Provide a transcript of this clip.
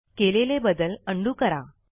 केलेले बदल उंडो करा